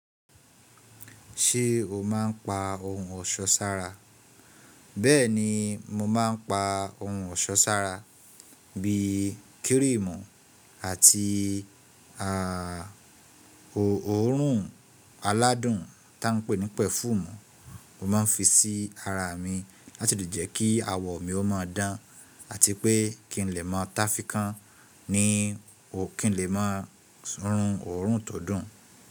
Ṣé o máa ń pa ohun ọ̀ṣọ́ sára? Bẹ́ẹ̀ni, mo máa ń pa ohun ọ̀ṣọ́ sára bí i kírìmù àti ọ̀run aládùn tí wọ́n ń pè ní perfume. Mo máa ń fi sí ara mi láti lè jẹ́ kí awọ mi ó máa dán àti pé kí n lè máa táfi kan ni kí n lè máa sún ọ̀run tó dùn.